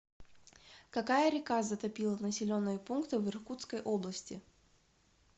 какая река затопила населенные пункты в иркутской области